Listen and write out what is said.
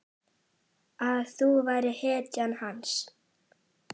Að þú værir hetjan hans.